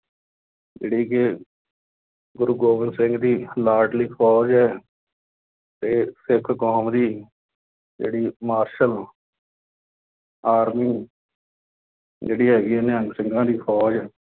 ਜਿਹੜੀ ਕਿ ਗੁਰੂ ਗੋਬਿੰਦ ਸਿੰਘ ਦੀ ਲਾਡਲੀ ਫੌਜ ਹੈ। ਅਤੇ ਸਿੱਖ ਕੌਮ ਦੀ ਜਿਹੜੀ ਮਾਰਸ਼ਲ ਆਰਮੀ ਜਿਹੜੀ ਹੈਗੀ ਹੈ ਨਿਹੰਗ ਸਿੰਘਾਂ ਦੀ ਫੌਜ